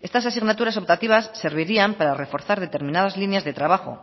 estas asignaturas optativas servirían para reforzar determinadas líneas de trabajo